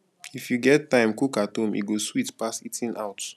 if you get time cook at home e go sweet pass eating out